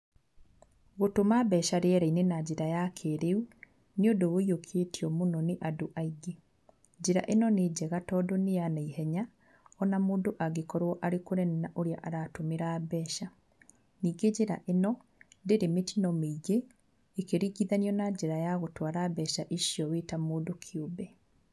Gũtũma mbeca rĩera-inĩ na njĩra ya kĩrĩu, nĩ ũndũ ũyiũkĩtio mũno nĩ andũ aingĩ. Njĩra ĩno nĩ njega tondũ nĩ ya naihenya, o na mũndũ angĩkorwo arĩ kũnene na ũrĩa aratũmĩra mbeca. Ningĩ njĩra ĩno, ndĩrĩ mĩtino mĩingĩ ĩkĩringithanio na njĩra ya gũtwara mbeca icio ũrĩ ta mũndũ kĩũmbe.